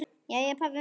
Jæja, pabbi minn.